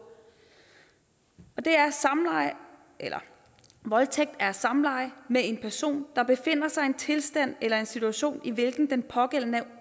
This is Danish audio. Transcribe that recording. og det er voldtægt er samleje med en person der befinder sig i en tilstand eller i en situation i hvilken den pågældende er